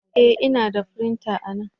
E! Ina da firinta anan.